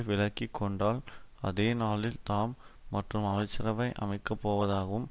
விலகி கொண்டால் அதே நாளில் தாம் மாற்று அமைச்சரவை அமைக்க போவதாகவும்